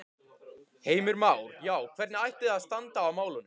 Heimir Már: Já, hvernig ætti þá að standa að málum?